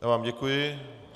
Já vám děkuji.